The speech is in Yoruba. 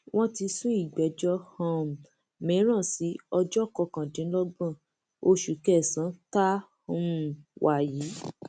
wọn ti sún ìgbẹjọ um mìíràn sí ọjọ kọkàndínlọgbọn oṣù kẹsànán tá a um wà yìí